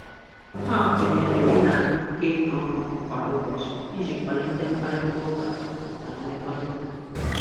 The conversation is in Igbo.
Ha kwenyere ị na-agakọ ihe ọnụ kwa ụbọchị iji kwalite mkparịtaụka na mmekọrịta.